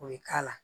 O ye k'a la